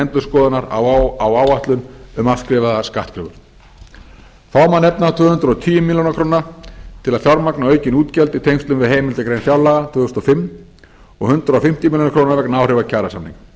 endurskoðunar á áætlun um afskrifaðar skattkröfur þá má nefna tvö hundruð og tíu milljónir króna til að fjármagna aukin útgjöld í tengslum við heimildagrein fjárlaga tvö þúsund og fimm og hundrað fimmtíu milljónir króna vegna áhrifa kjarasamninga